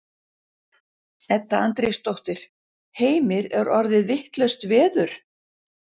Edda Andrésdóttir: Heimir er orðið vitlaust veður?